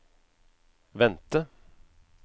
vente